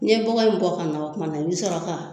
N'i ye bɔgɔ in bɔ ka na o kumana i bi sɔrɔ ka